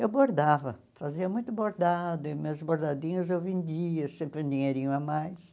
Eu bordava, fazia muito bordado, e meus bordadinhos eu vendia, sempre um dinheirinho a mais.